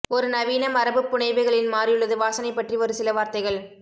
ஒரு நவீன மரபுப் புனைவுகளின் மாறியுள்ளது வாசனை பற்றி ஒரு சில வார்த்தைகள்